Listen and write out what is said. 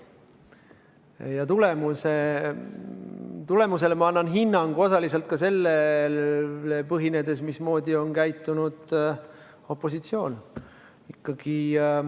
Ja tulemusele annan ma hinnangu osaliselt selle põhjal, mismoodi on käitunud opositsioon.